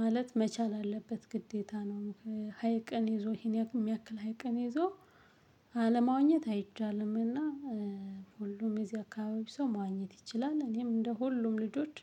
ማለት መቻል አለበት ግዴታ ነው። ሀይቅን ይዞ ይሄን የሚያክል ሀይቅን ይዞ አለማውኘት አይቻልምና። ሁሉም የዚህ አካባቢ ሰው መዋኘት ይችላል። እኔም እንደ ሁሉም ልጆች